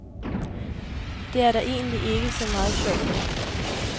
Det er der egentlig ikke så meget sjov ved.